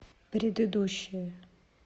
предыдущая